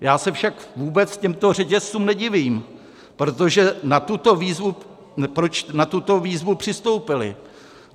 Já se však vůbec těmto řetězcům nedivím, proč na tuto výzvu přistoupili.